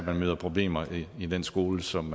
møder problemer i den skole som